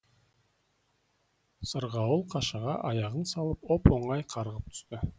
сырғауыл қашаға аяғын салып оп оңай қарғып түсті